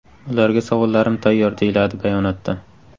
Ularga savollarim tayyor”, deyiladi bayonotda.